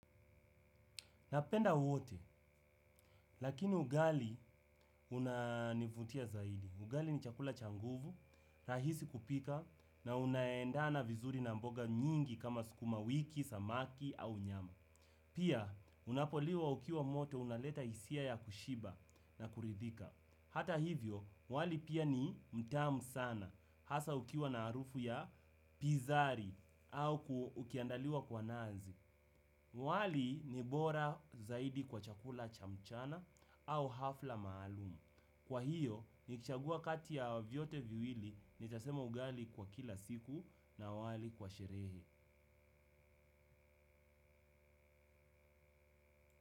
Napenda wote, lakini ugali unanivutia zaidi. Ugali ni chakula cha nguvu, rahisi kupika na unaendana vizuri na mboga nyingi kama sukuma wiki, samaki au nyama. Pia, unapoliwa ukiwa moto unaleta hisia ya kushiba na kuridhika. Hata hivyo, wali pia ni mtamu sana. Hasa ukiwa na harufu ya pizari au ukiandaliwa kwa nazi. Wali ni bora zaidi kwa chakula cha mchana au hafla maalumu. Kwa hiyo, nikichagua kati ya vyote viwili nitasema ugali kwa kila siku na wali kwa sherehe.